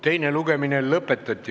Teine lugemine on lõppenud.